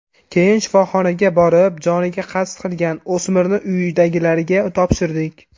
Keyin shifoxonaga borib, joniga qasd qilgan o‘smirni uyidagilarga topshirdik.